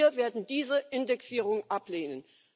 Wir werden diese Indexierung ablehnen.